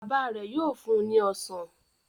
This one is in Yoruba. Baba rẹ yóò fún ní ọsán